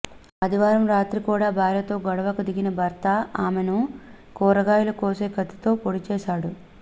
ఆదివారం రాత్రి కూడా భార్యతో గొడవకు దిగన భర్త ఆమెను కూరగాయలు కోసే కత్తితో పొడిచాడు